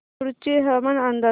कुडची हवामान अंदाज